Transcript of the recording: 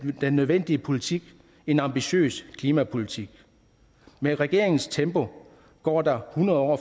den nødvendige politik en ambitiøs klimapolitik med regeringens tempo går der hundrede år